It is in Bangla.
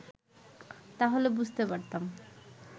তাহলে বুঝতে পারতাম